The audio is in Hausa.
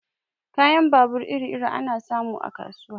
Kayan babur iri-iri ana samun sa a kasuwa.